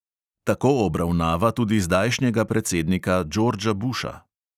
Tako obravnava tudi zdajšnjega predsednika džordža buša.